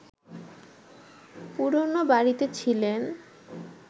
পুরনো বাড়িতে ছিলেন